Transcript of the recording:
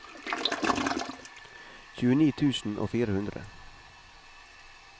tjueni tusen og fire hundre